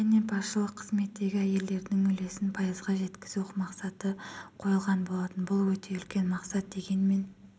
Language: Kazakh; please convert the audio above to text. және басшылық қызметтегі әйелдердің үлесін пайызға жеткізу мақсаты қойылған болатын бұл өте үлкен мақсат дегенмен